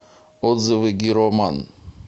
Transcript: отзывы гироман